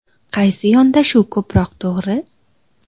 Qaysi yondashuv ko‘proq to‘g‘ri?